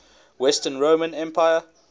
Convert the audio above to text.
western roman empire